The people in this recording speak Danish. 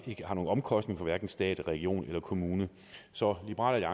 ikke har nogen omkostning for stat region og kommune så liberal